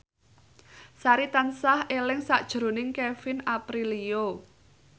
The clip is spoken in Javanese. Sari tansah eling sakjroning Kevin Aprilio